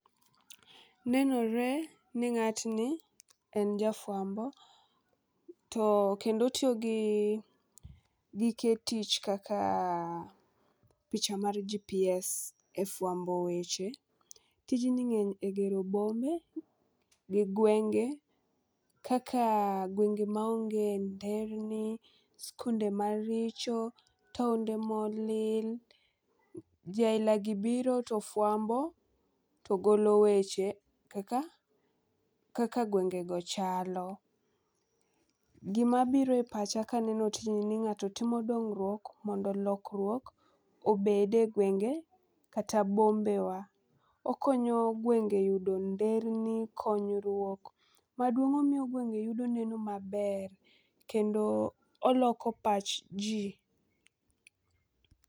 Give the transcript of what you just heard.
Nenore ni ng'atni en jafwambo to kendo otiyo gi gike tich kaka picha mar GPS e fwambo weche .Tijni ng'eny e gero bombe gi gwenge kaka gwenge maonge nderni ,skunde maricho , taonde molil. Jii aila gi biro to fwambo to golo weche kaka kaka gwengego chalo. Gima biro e pacha kaneno tijni ni ng'ato timo dongruok mondo lokruok obede gwenge kata bombewa. Okonyo gwenge yudo nderni, konyruok, maduong omiyo gwenge yudo neno maber kendo oloko pach jii